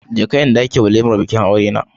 Je ka inda ake walimar bikin aurena.